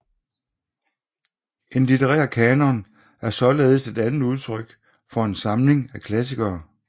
En litterær kanon er således et andet udtryk for en samling af klassikere